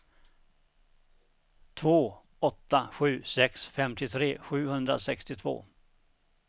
två åtta sju sex femtiotre sjuhundrasextiotvå